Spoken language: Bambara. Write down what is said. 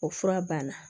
O fura b'a la